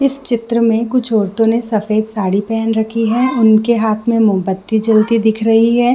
इस चित्र में कुछ औरतों ने सफ़ेद साड़ी पहन रखी है उनके हाथ में मोमबत्ती जलते दिख रही है।